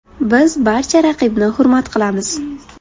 Biz barcha raqibni hurmat qilamiz.